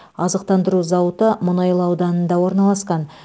азықтандыру зауыты мұнайлы ауданында орналасқан